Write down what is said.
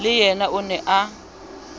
le yena o ne a